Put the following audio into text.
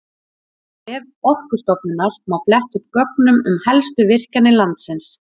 Á vef Orkustofnunar má fletta upp gögnum um helstu virkjanir landsins.